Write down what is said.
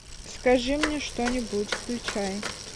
скажи мне что нибудь включай